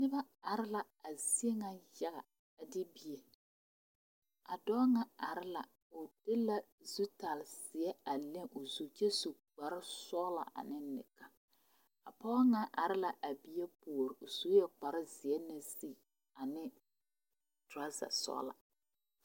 Noba are la a zie ŋa yaga a de bien a dɔɔ ŋa are la o e la zutare zeɛ a meŋ o zu kyɛ su kpare sɔglaa ane neka a pɔge ŋa are la bie puoriŋ o sue kpare zeɛ naŋ sigi ane toraza sɔglaa.